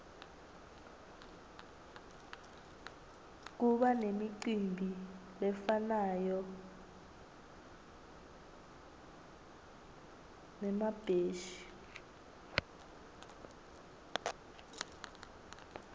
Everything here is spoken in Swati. kubanemicimbi lefana nemabheshi